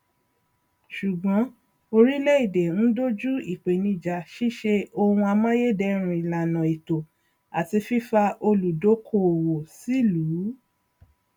ṣùgbọn oríléèdè ń doju ìpènijà ṣíṣe ohun amáyédẹrùn ìlàna ètò àti fífa olùdókóòwò sílùú